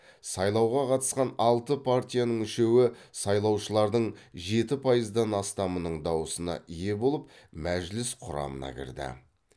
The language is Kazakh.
сайлауға қатысқан алты партияның үшеуі сайлаушылардың жеті пайыздан астамының дауысына ие болып мәжіліс құрамына кірді